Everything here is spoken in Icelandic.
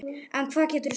En hvað geturðu sagt?